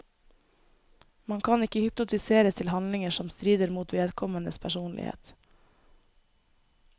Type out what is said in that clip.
Man kan ikke hypnotiseres til handlinger som strider mot vedkommendes personlighet.